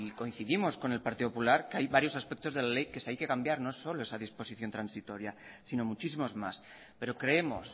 coincidimos con el partido popular que hay varios aspectos de la ley que hay que cambiar no solo esa disposición transitoria sino muchísimos más pero creemos